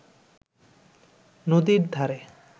নদীর ধারে